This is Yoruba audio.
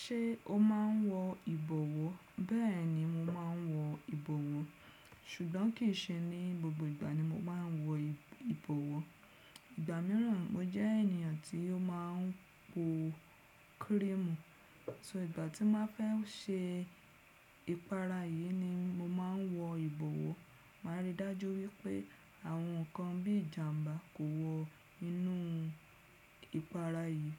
Ṣé o máa n wọ ìbọwọ́? Bẹ́ẹ̀ni mo máa n wọ ìbọwọ́, ṣùgbọ́n kì í ṣe ní gbogbo ìgbà ni mo máa n wọ ìbọwọ́. Ìgbà míràn mo jẹ́ ènìyàn tí ó máa n po kírìmùù, so ìgbà tí máa fẹ́ se ìpara yìí ni mo máa n wọ ìbọwọ́. Màá rí i dájú wípé àwọn ǹkan bí ìjàmbá kò wọ inú ìpara yìí.